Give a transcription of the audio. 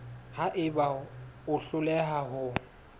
ha eba o hloleha ho